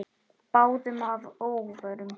Báðum að óvörum.